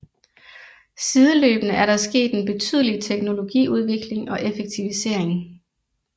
Sideløbende er der sket en betydelig teknologiudvikling og effektivisering